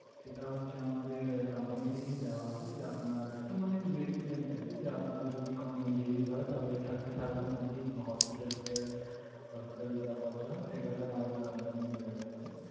সেটা হচ্ছে আমাদের company থেকেই দেওয়া হবে, যে আপনার একটা মানে medi-claim type এর, যে আপনার যদি কোন injuries হয় তাহলে thirty thousand অব্দি hospital fair hospital এই যা খরচা হয় সেটা sir আমাদের company bear করবে।